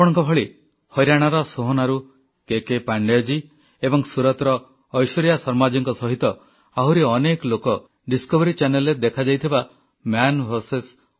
ଆପଣଙ୍କ ଭଳି ହରିୟାଣାର ସୋହନାରୁ କେକେ ପାଣ୍ଡେୟଜୀ ଏବଂ ସୁରତର ଐଶ୍ୱର୍ଯ୍ୟା ଶର୍ମାଜୀଙ୍କ ସହିତ ଆହୁରି ଅନେକ ଲୋକ ଡିସକଭରି ଚାନେଲରେ ଦେଖାଯାଇଥିବା ମନ୍ ଭିଆରଏସ୍